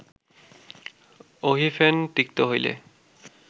অহিফেন তিক্ত হইলে